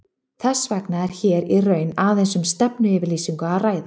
Þess vegna er hér í raun aðeins um stefnuyfirlýsingu að ræða.